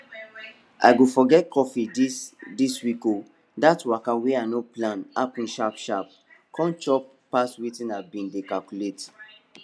i go forget coffee dis dis week o that waka wey i no plan happen sharpsharp come chop pass wetin i been dey calculate